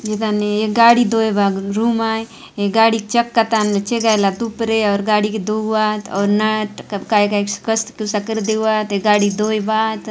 ए ताने एक गाड़ी धोए का रूम आय एक गाड़ी के चक्का ताने छे काय ला तुपरे और गाड़ी के धोआत और नट काय काय कस कर देऊ आत गाड़ी धोएबात --